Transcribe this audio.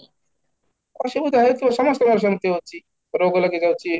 ଅସୁବିଧା ୟେ ତ ସମସ୍ତଙ୍କ ଏମିତି ହୋଉଛି ରୋଗ ଲାଗି ଯାଉଛି,